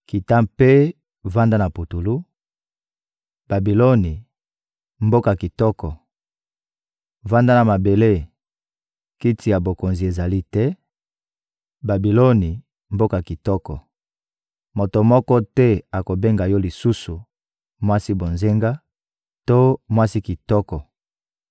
Kita mpe vanda na putulu, Babiloni, mboka kitoko! Vanda na mabele, kiti ya bokonzi ezali te, Babiloni, mboka kitoko! Moto moko te akobenga yo lisusu «mwasi bonzenga» to «mwasi kitoko.»